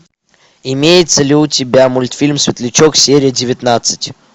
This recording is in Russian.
имеется ли у тебя мультфильм светлячок серия девятнадцать